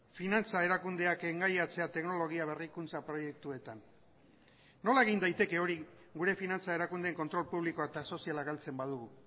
finantza erakundeak engaiatzea teknologia berrikuntza proiektuetan nola egin daiteke hori gure finantza erakundeen kontrol publikoa eta soziala galtzen badugu